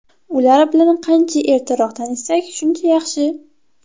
Ular bilan qancha ertaroq tanishsak, shuncha yaxshi.